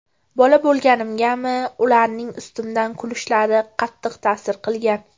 Bola bo‘lganimgami, ularning ustimdan kulishlari qattiq ta’sir qilgan.